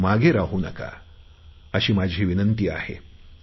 आपण मागे राहू नका अशी माझी विनंती आहे